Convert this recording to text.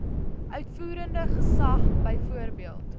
uitvoerende gesag byvoorbeeld